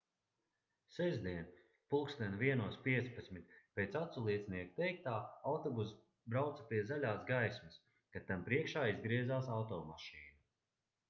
sestdien plkst 01:15 pēc aculiecinieku teiktā autobuss brauca pie zaļās gaismas kad tam priekšā izgriezās automašīna